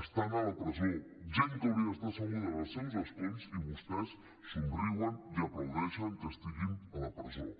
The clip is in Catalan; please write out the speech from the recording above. estan a la presó gent que hauria d’estar asseguda en els seus escons i vostès somriuen i aplaudeixen que estiguin a la presó